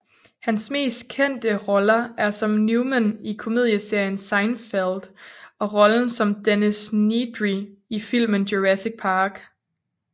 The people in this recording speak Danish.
Hans mest kendte roller er som Newman i komedieserien Seinfeld og rollen som Dennis Nedry i filmen Jurassic Park